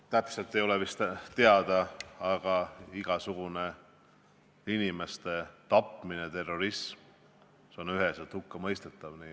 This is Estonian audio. Täpselt ei ole asjaolud teada, aga igasugune inimeste tapmine, terrorism on üheselt hukkamõistetav.